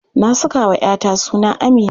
Na sakawa 'ya ta suna Amina.